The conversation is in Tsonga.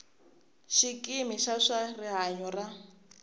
xikimi xa swa rihanyo xa